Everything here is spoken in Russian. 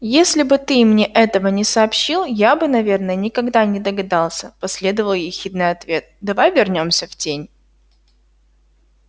если бы ты мне этого не сообщил я бы наверное никогда не догадался последовал ехидный ответ давай вернёмся в тень